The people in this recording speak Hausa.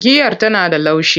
Giyar Tana da laushi.